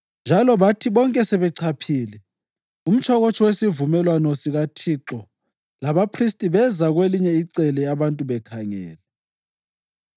njalo bathi bonke sebechaphile, umtshokotsho wesivumelwano sikaThixo labaphristi beza kwelinye icele abantu bekhangele.